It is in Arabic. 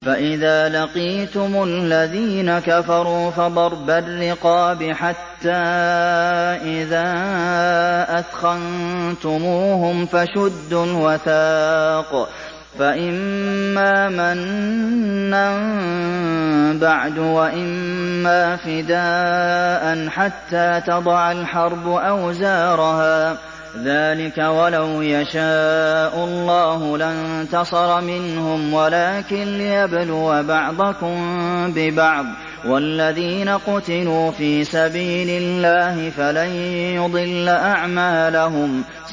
فَإِذَا لَقِيتُمُ الَّذِينَ كَفَرُوا فَضَرْبَ الرِّقَابِ حَتَّىٰ إِذَا أَثْخَنتُمُوهُمْ فَشُدُّوا الْوَثَاقَ فَإِمَّا مَنًّا بَعْدُ وَإِمَّا فِدَاءً حَتَّىٰ تَضَعَ الْحَرْبُ أَوْزَارَهَا ۚ ذَٰلِكَ وَلَوْ يَشَاءُ اللَّهُ لَانتَصَرَ مِنْهُمْ وَلَٰكِن لِّيَبْلُوَ بَعْضَكُم بِبَعْضٍ ۗ وَالَّذِينَ قُتِلُوا فِي سَبِيلِ اللَّهِ فَلَن يُضِلَّ أَعْمَالَهُمْ